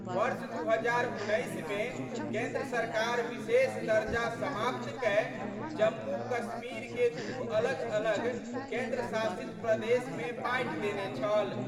वर्ष 2019 मे केंद्र सरकार विशेष दर्जा समाप्त कए जम्मू कश्मीर के दू अलग-अलग केंद्र शासित प्रदेश मे बांटि देने छल।